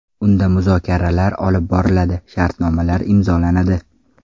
Unda muzokaralar olib boriladi, shartnomalar imzolanadi.